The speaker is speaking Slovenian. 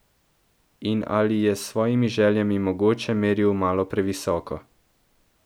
In ali je s svojimi željami mogoče meril malo previsoko.